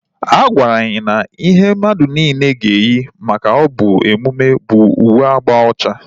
A gwara anyị na ihe mmadụ niile ga eyi maka ya bụ emume bụ uwe agba ocha